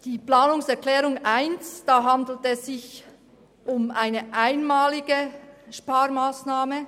Beim Thema der Planungserklärung 1 handelt es sich um eine einmalige Sparmassnahme.